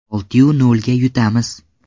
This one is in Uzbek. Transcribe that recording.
Oltiyu nolga yutamiz!